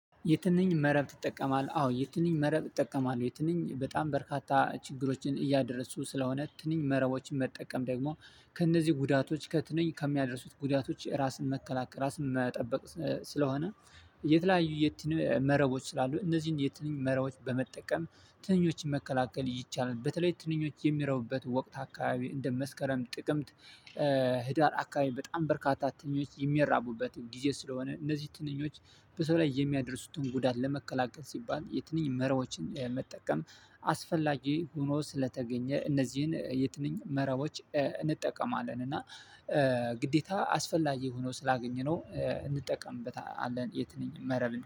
የትንኝ መረብ ትጠቀማለ? አዎ የትንኝ መረብ እጠቀማለሁ። ትንኝ በጣም በርካታ ችግሮችን እያደረሱ ስለሆነ ትንኝ መረቦችን መጠቀም ደግሞ ከእነዚህ ጉዳቶች ከትንኝ ከሚያደርሱት ጉዳቶች ራስን መከላከል ራስን መጠበቅ ስለሆነ የተለያዩ የትኛው መረቦች ስላሉ እነዚህን የትኛው መረቦች በመጠቀም ትንኞችን መከላከል ይቻላል። በተለይ ትንኞች የሚረቡበት ወቅት አካባቢ እንደ መስከረም ጥቅምት ህዳር አካባቢ በጣም በርካታ ትንኞች የሚያራቡበት ጊዜ ስለሆነ እነዚህ ትንኞች በሰው ላይ የሚያደርሱትን ጉዳት ለመከላከል ሲባል የትንኝ መራቦችን መጠቀም አስፈላጊ ሆኖ ስለተገኘ እነዚህን የትንኝ መረቦች እንጠቀማለን። እና ግዴታ አስፈላጊ ሆኖ ስላገኘነው እንጠቀምበታለን የትንኝ መረብን።